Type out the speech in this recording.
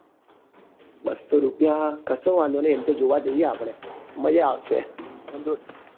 બસો રૂપિયા કસો વાંધો નઈ એમ તો જોવા જઈએ આપડે. મજા આવશે. અન જો હ